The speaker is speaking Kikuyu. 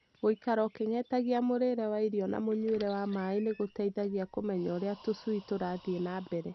Gũikara ũkĩng'etagia mũrĩre wa irio na mũnyuĩre wa maaĩ nĩgũteithagia kũmenya ũrĩa tũcui tũrathiĩ na mbere.